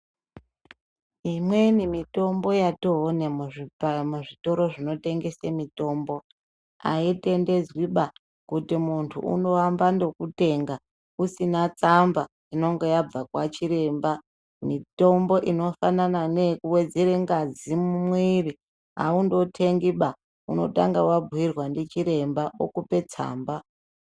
Imweni mitombo yatoone muzvitoro zvinotengese mitombo, aitendedzwiba kuti muntu andoambe ngekutenga usina tsamba inenge yabva kwachiremba. Mitombo inofanana neyekuwedzere ngazi mumwiri, aundotengiba, unotange wabhuyirwa ndichiremba, okupe tsamba.